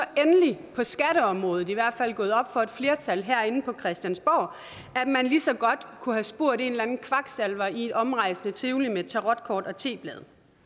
endelig på skatteområdet i hvert fald gået op for et flertal herinde på christiansborg at man lige så godt kunne have spurgt en eller anden kvaksalver i et omrejsende tivoli med tarotkort og teblade